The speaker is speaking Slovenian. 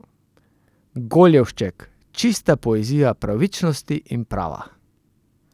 Goljevšček, čista poezija pravičnosti in prava!